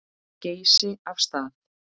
Geysi af stað.